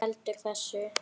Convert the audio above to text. En hvað veldur þessu?